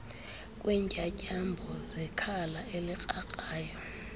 kweentyatyambo zekhala elikrakrayo